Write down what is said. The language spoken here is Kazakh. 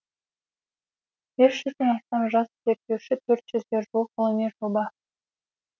бес жүзде астам жас зерттеуші төрт жүзге жуық ғылыми жоба